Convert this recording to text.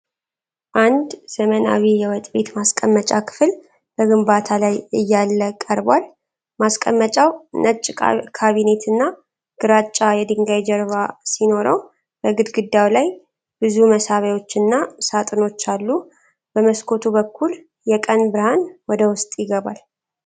አንድ ዘመናዊ የወጥ ቤት ማስቀመጫ ክፍል በግንባታ ላይ እያለ ቀርቧል፡፡ ማስቀመጫው ነጭ ካቢኔትና ግራጫ የድንጋይ ጀርባ ሲኖረው በግድግዳው ላይ ባለ ብዙ መሳቢያዎችና ሳጥኖች አሉ፡፡ በመስኮቱ በኩል የቀን ብርሃን ወደ ውስጥ ይገባል፡፡